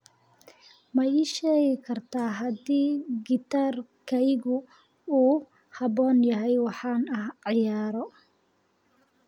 ma ii sheegi kartaa haddii gitaarkaygu uu ku habboon yahay waxa aan ciyaaro